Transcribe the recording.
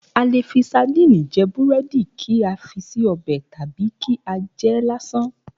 A lè fi sadíìnì je̩ búré̩dì, kí a fi sí o̩bè̩ tàbí kí á je̩ é̩ lásán